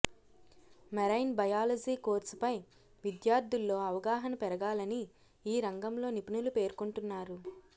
marine biology కోర్సుపై విద్యార్థుల్లో అవగాహన పెరగాలని ఈ రంగంలో నిపుణులు పేర్కొంటున్నారు